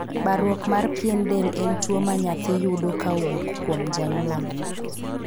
Baruok mar pien del en tuo ma naythi yudo ka owuok kyom janhyuol .